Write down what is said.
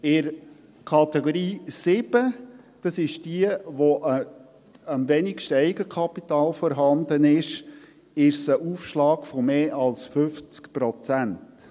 In der Kategorie 7 – das ist diejenige, bei der am wenigsten Eigenkapital vorhanden ist – ist es ein Aufschlag von mehr als 50 Prozent.